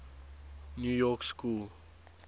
new york school